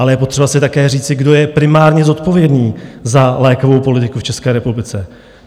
Ale je potřeba si také říci, kdo je primárně zodpovědný za lékovou politiku v České republice.